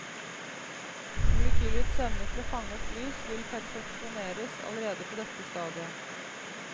Molekylets evne til å fange opp lys kunne perfeksjoneres allerede på dette stadiet.